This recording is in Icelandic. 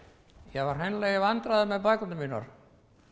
ég var hreinlega í vandræðum með bækurnar mínar